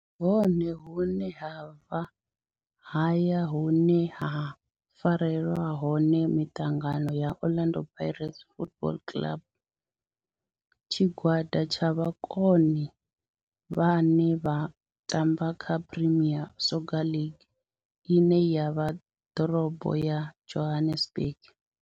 Ndi hone hune havha haya hune ha farelwa hone miṱangano ya Orlando Pirates Football Club. Tshigwada tsha vhomakone vhane vha tamba kha Premier Soccer League ine ya vha ḓorobo ya Johannesburg.